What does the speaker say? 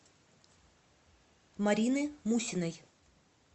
марины мусиной